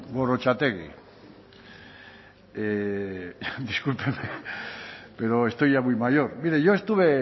gorrotxategi discúlpeme pero estoy ya muy mayor mire yo estuve